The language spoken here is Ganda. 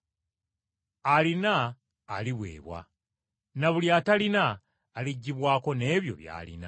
Alina aliweebwa na buli atalina aliggyibwako n’ebyo by’alina.”